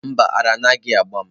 Mba, ara anaghị agba m.